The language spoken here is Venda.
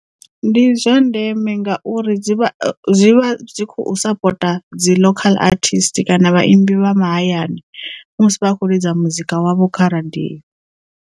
Ndi zwa ndeme ngauri dzi vha dzi vha dzi khou sapota dzi local artist kana vhaimbi vha mahayani musi vhakho ḽidza muzika wavho kha radio.